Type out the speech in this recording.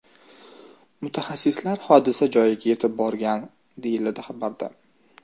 Mutaxassislar hodisa joyiga yetib borgan”, deyiladi xabarda.